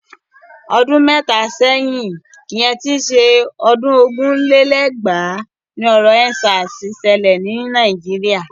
Ọdún mẹ́ta sẹ́yìn ìyẹn tí ń ṣe ọdún ogún lé lẹ́gbàá ni ọ̀rọ̀ End Sars ṣẹlẹ̀ ni Nàìjíríà.